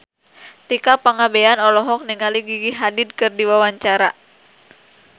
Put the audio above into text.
Tika Pangabean olohok ningali Gigi Hadid keur diwawancara